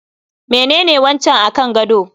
Menene wancan akan gado?